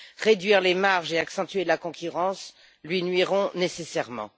Réduire les marges et accentuer la concurrence lui nuiront nécessairement.